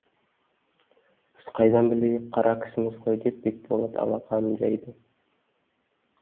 біз қайдан білейік қара кісіміз ғой деп бекболат алақанын жайды